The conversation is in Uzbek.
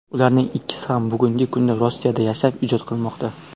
Ularning ikkisi ham bugungi kunda Rossiyada yashab, ijod qilmoqda.